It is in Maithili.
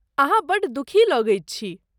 अहाँ बड्ड दुखी लगैत छी।